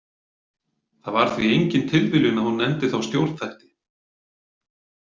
Það var því engin tilviljun að hún nefndi þá stjórnþætti.